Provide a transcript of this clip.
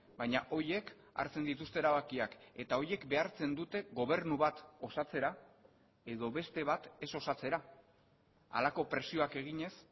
baina horiek hartzen dituzte erabakiak eta horiek behartzen dute gobernu bat osatzera edo beste bat ez osatzera halako presioak eginez